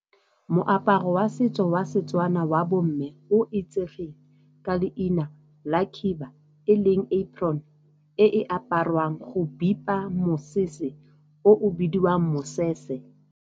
Moaparo wa setso wa Setswana wa bo mme o itsegeng ka leina la khiba e leng apron e e aparwang go bipa mosese o bidiwang mosese.